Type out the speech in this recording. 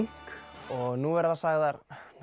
og nú verða sagðar